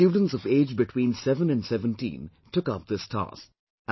Students of age between seven to seventeen took up this task